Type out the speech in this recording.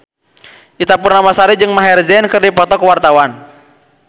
Ita Purnamasari jeung Maher Zein keur dipoto ku wartawan